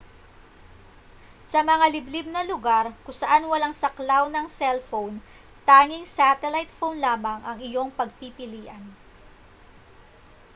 sa mga liblib na lugar kung saan walang saklaw ng cell phone tanging satellite phone lamang ang iyong pagpipilian